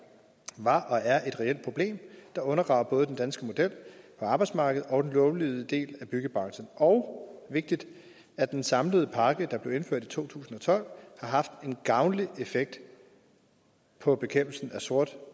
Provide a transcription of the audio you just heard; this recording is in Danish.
var og er et reelt problem der undergraver både den danske model på arbejdsmarkedet og den lovlydige del af byggebranchen og vigtigt at den samlede pakke der blev indført i to tusind og tolv har haft en gavnlig effekt på bekæmpelsen af sort